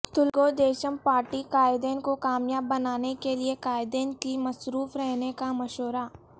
Telugu Desam party قائدین کو کامیاب بنانے کے لیے قائدین کو مصروف رہنے کا مشورہ